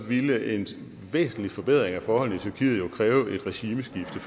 ville en væsentlig forbedring af forholdene i tyrkiet jo formentlig kræve et regimeskifte